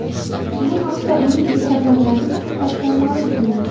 Bu haqda uning Instagram’dagi sahifasida ma’lum qilindi.